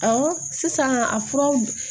Awɔ sisan a furaw